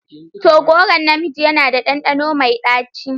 To! goron na miji yana da ɗanɗano mai ɗaci.